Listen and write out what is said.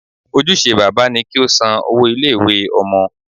Ojúse bàbá ni kí ó san owó ilé ìwé Ọmọ